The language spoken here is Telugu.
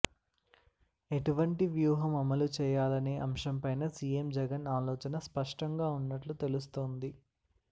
ఎటువంటి వ్యూహం అమలు చేయాలనే అంశం పైన సీఎం జగన్ ఆలోచన స్పష్టంగా ఉన్నట్లు తెలుస్తోంది